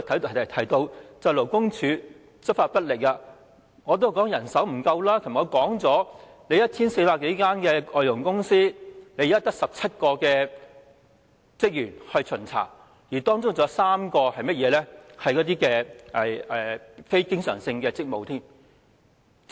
我提到勞工處執法不力、人手不足，香港有 1,400 多間外傭公司，勞工處卻只有17名職員負責巡查，當中還有3個並非常額職位。